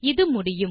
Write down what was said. இது முடியும்